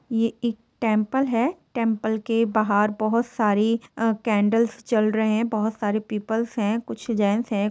यह एक टेम्पल है टेम्पल के बहार बहुत सारी अ कैंडल्स चल रहे है बोहत सारे पीपल्स है कुछ जेन्ट्स है।